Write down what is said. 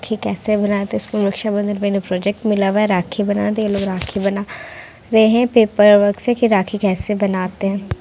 राखी कैसे बनाते है इनको रक्षा बंधन में इन्हे प्रोजेक्ट मिला हुआ है राखी बना दी उलोग राखी बना रहे है पेपरवर्क से की राखी कैसे बनाते है।